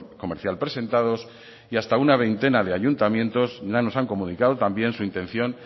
comercial presentados y hasta una veintena de ayuntamientos ya nos han comunicado también su intención